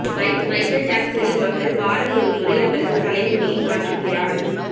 Michael ஜாக்சனின் மகள் வாரம் ஒரு முறை அவரது தலைமுடியை மாற்றுகிறார்